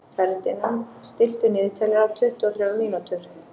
Ferdinand, stilltu niðurteljara á tuttugu og þrjár mínútur.